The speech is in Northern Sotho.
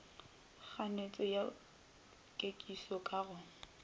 kganetšo ya kekišo ka go